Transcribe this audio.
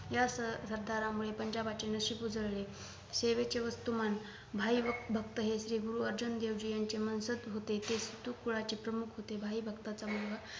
या सर सरदारामुळे पंजाबचे नशीब उजळले सेवेचे वस्तुमान भाई भक्त हे श्री गुरु अर्जुन देवजी यांचे मनसज होते ते सिधुकुलाचे प्रमुख होते भाई भक्ताचा मुलगा